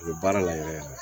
U bɛ baara la yɛrɛ yɛrɛ yɛrɛ